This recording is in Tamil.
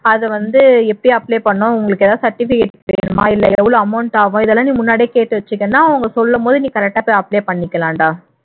அது வந்து எப்படி apply பண்ணனும் உங்களுக்கு ஏதாவது certificate வேணுமா இல்லை எவ்வளவு amount ஆகும் இதெல்லாம் நீ முன்னாடியே கேட்டு வச்சுகிட்டேன்னா அவங்க சொல்லும்போது நீ correct ஆ apply பண்ணிக்கலாம்டா